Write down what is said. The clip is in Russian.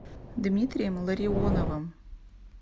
дмитрием ларионовым